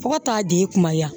Fo ka taa di i kuma yan